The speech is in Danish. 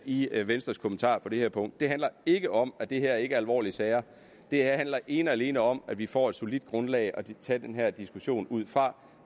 i venstres kommentar på det her punkt det handler ikke om at det her ikke er alvorlige sager det handler ene og alene om at vi får et solidt grundlag at tage den her diskussion ud fra